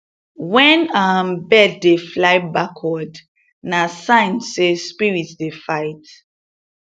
when um bird dey fly backward na sign say spirit dey fight